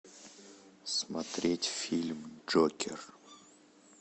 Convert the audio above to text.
смотреть фильм джокер